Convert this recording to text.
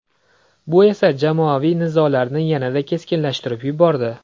Bu esa jamoaviy nizolarni yanada keskinlashtirib yubordi.